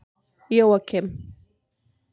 Jóakim